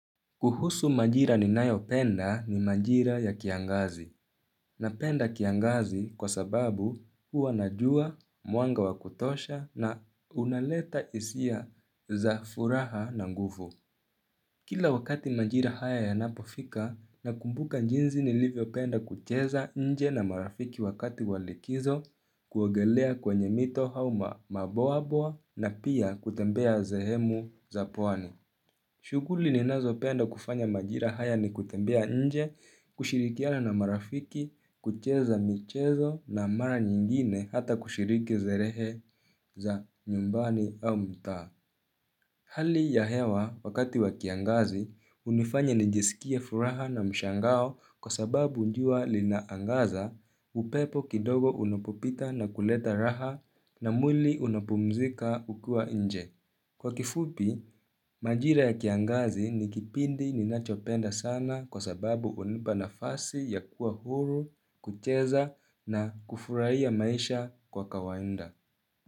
Kuhusu majira ni nayo penda ni majira ya kiangazi. Na penda kiangazi kwa sababu hua najua, muanga wakutosha na unaleta isia za furaha na nguvu. Kila wakati majira haya ya napofika, nakumbuka njinzi ni livyo penda kucheza nje na marafiki wakati walikizo, kuogelea kwenye mito hauma maboa boa na pia kutembea zehemu za puani. Shuguli ninazo penda kufanya majira haya ni kutembea nje, kushirikiana na marafiki, kucheza michezo na mara nyingine hata kushiriki zerehe za nyumbani au mta. Hali ya hewa wakati wa kiangazi, unifanya nijesikia furaha na mshangao kwa sababu njua linaangaza, upepo kidogo unapopita na kuleta raha na mwili unapumzika ukuwa nje. Kwa kifupi, majira ya kiangazi ni kipindi ninachopenda sana kwa sababu unimba na fasi ya kuwa huru, kucheza na kufurai maisha kwa kawainda.